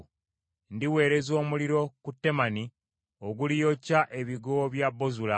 Ndiweereza omuliro ku Temani oguliyokya ebigo bya Bozula.”